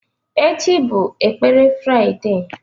Echi bụ ekpere Fraịde.